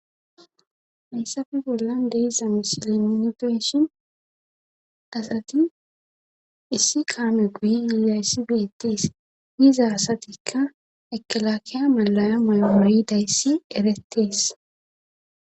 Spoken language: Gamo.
Hayssafe bollan deessa misile minifeshin asati issi kaame guyi yiida yssi beettees hiza asatikka ekelakeya malaya maymoridayssi erettees